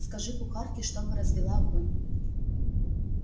скажи кухарке чтобы развела огонь